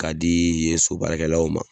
Ka di' yen sobaarakɛlaw ma